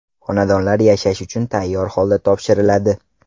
Xonadonlar yashash uchun tayyor holda topshiriladi.